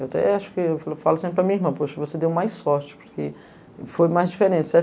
Eu até acho que falo sempre para a minha irmã, poxa, você deu mais sorte, porque foi mais diferente, certo?